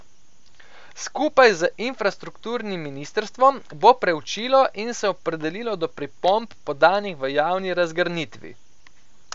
Skupaj z infrastrukturnim ministrstvom bo preučilo in se opredelilo do pripomb podanih v javni razgrnitvi.